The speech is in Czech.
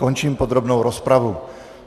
Končím podrobnou rozpravu.